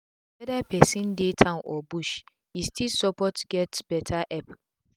weda persin dey town or bush e still support get beta epp